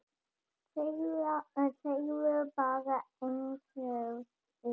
Segðu bara einsog er.